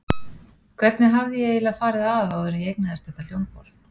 Hvernig hafði ég eiginlega farið að áður en ég eignaðist þetta hljómborð?